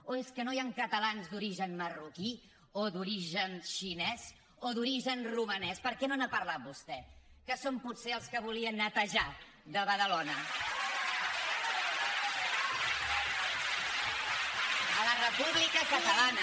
o és que no hi han catalans d’origen marroquí o d’origen xinès o d’origen romanès per què no n’ha parlat vostè que són potser els que volia netejar de badalona a la república catalana